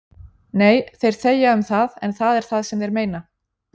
Nei, þeir þegja um það en það er það sem þeir meina